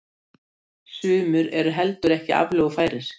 Sumir eru heldur ekki aflögufærir.